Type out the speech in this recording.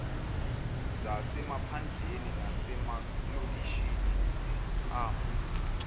zasemaphandleni nasemalokishini zihamba